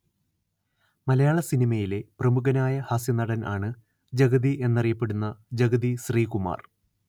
മലയാള സിനിമയിലെ പ്രമുഖനായ ഹാസ്യനടൻ ആണ് ജഗതി എന്നറിയപ്പെടുന്ന ജഗതി ശ്രീകുമാർ